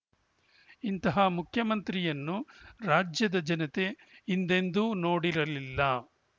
ಇಂತಹ ಮುಖ್ಯಮಂತ್ರಿಯನ್ನು ರಾಜ್ಯದ ಜನತೆ ಹಿಂದೆಂದೂ ನೋಡಿರಲಿಲ್ಲ